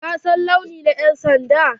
Ka san launi na yan'sanda?